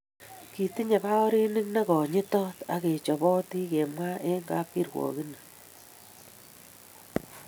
Kitinye baorinik nekonyitot akechopotin kemwa eng kapkirwokini